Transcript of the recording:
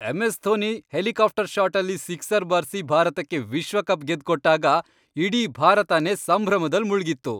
MS. Dhoni helicopter ಷಾಟಲ್ಲಿ sixer ಬಾರ್ಸಿ ಭಾರತಕ್ಕೆ ವಿಶ್ವಕಪ್ ಗೆದ್ಕೊಟ್ಟಾಗ ಇಡೀ ಭಾರತನೇ ಸಂಭ್ರಮದಲ್ ಮುಳ್ಗಿತ್ತು.